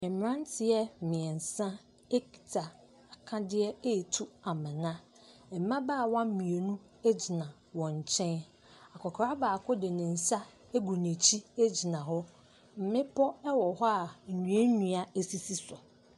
Mmranteɛ mmiensa ekita akadeɛ ɛtu amina. Mmabaawa mmienu agyina wɔn nkyɛn. Akokra baako de nensa agu n'akyi agyina hɔ. Mmepɔ ɛwɔ hɔ a nnua nnua asisi so.